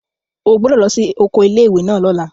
O gbọ́dọ̀ lọ sí oko ilé ìwé náà lọ́la!